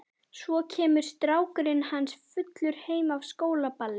Svo kemur strákurinn hans fullur heim af skólaballi.